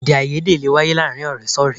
Èdèàìyedè lè wáyé láàárín ọ̀rẹ́ sí ọ̀rẹ́